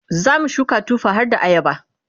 zamu shuka tufa harda ayaba